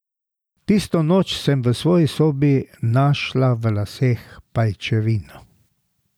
Tisto noč sem v svoji sobi našla v laseh pajčevino.